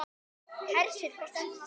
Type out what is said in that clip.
Hersir, hvað stendur til?